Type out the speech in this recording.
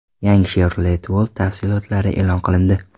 Yangi Chevrolet Volt tafsilotlari e’lon qilindi.